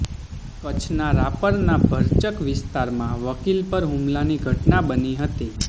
કચ્છના રાપરના ભરચક વિસ્તારમા વકીલ પર હુમલાની ઘટના બની હતી